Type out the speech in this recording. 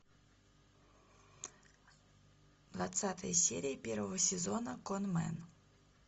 двадцатая серия первого сезона конмэн